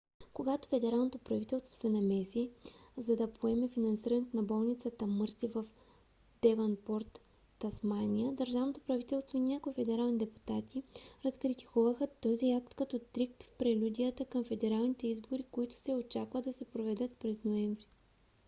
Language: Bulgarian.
когато федералното правителство се намеси за да поеме финансирането на болницата мърси в девънпорт тасмания държавното правителство и някои федерални депутати разкритикуваха този акт като трик в прелюдията към федералните избори които се очаква да се проведат през ноември